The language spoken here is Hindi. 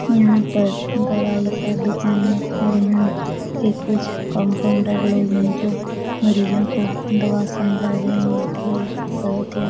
यहाँ पर दवाई का दुकान है और यहाँ के कुछ कंपाउंडर लोग है जो मरीजों को दवा समझा रहे हैं बहोत ही --